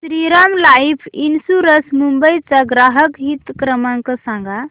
Shriram life insurance Mumbai चा ग्राहक हित क्रमांक सांगा